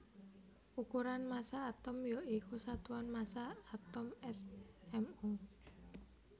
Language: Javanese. Ukuran massa atom ya iku satuan massa atom smu